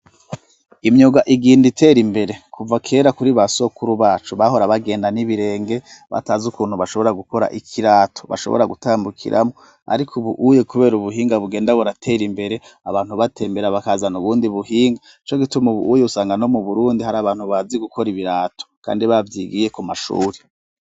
Imyuga igenda itera imbere, kuva kera kuri basokuru bacu bahora bagenda n'ibirenge batazi ukuntu bashobora gukora ikirato bashobora gutambukiramwo ariko ubuuye kubera ubuhinga bugenda buratera imbere abantu batembera bakazana ubundi buhinga co gituma ubuuye usanga no mu burundi hari abantu bazi gukora ibirato kandi babyigiye ku mashuri.